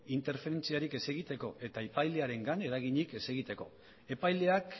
interferentziarik ez egiteko eta epailearengan eraginik ez egiteko epaileak